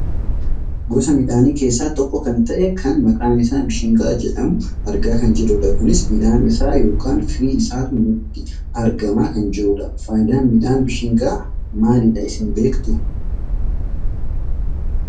Gosa midhaanii keessaa tokko kan ta'e kan maqaan isaa bishingaa jedhamu argaa kan jirrudha. Kunis midhaan isaa yookaan free isaatu nutti argamaa kan jirudha. Fayidaan miidhaan bishingaa maalidha isin beektuu?